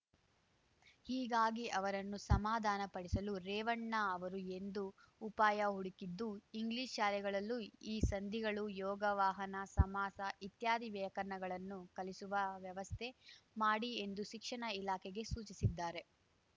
ಹೀಗಾಗಿ ಅವರನ್ನು ಸಮಾಧಾನಪಡಿಸಲು ರೇವಣ್ಣ ಅವರು ಎಂದು ಉಪಾಯ ಹುಡುಕಿದ್ದು ಇಂಗ್ಲಿಷ್‌ ಶಾಲೆಗಳಲ್ಲೂ ಈ ಸಂಧಿಗಳು ಯೋಗವಾಹನ ಸಮಾಸ ಇತ್ಯಾದಿ ವ್ಯಾಕರಣವನ್ನು ಕಲಿಸುವ ವ್ಯವಸ್ಥೆ ಮಾಡಿ ಎಂದು ಶಿಕ್ಷಣ ಇಲಾಖೆಗೆ ಸೂಚಿಸಿದ್ದಾರೆ